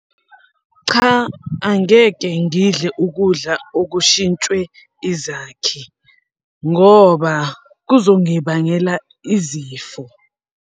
Cha, angeke ngidle ukudla okushintshwe izakhi ngoba kuzongibangela izifo.